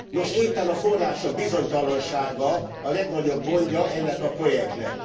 Nos, éppen a források bizonytalansága a legnagyobb gondja ennek a projektnek.